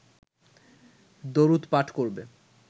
দরুদ পাঠ করবে